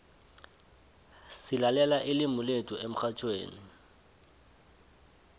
silalela ilimu lethu emxhatjhweni